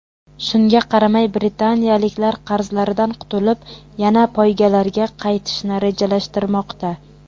Shunga qaramay britaniyaliklar qarzlaridan qutulib, yana poygalarga qaytishni rejalashtirmoqda.